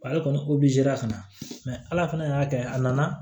Ale kɔni ka na ala fana y'a kɛ a nana